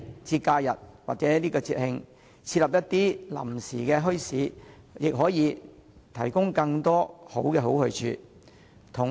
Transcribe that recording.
在假日和節慶，設立一些臨時墟市也可以為市民提供更多好去處。